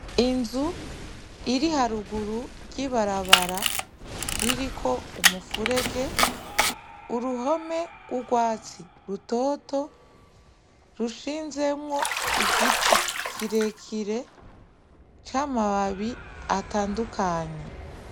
Inzu iriharuguru y'ibarabara iriko umuferege, uruhome rw'urwatsi rutoto rushinzemwo Igiti kirekire c'amababi atandukanye.